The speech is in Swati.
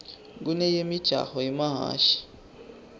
kuneyemijaho yemahhashi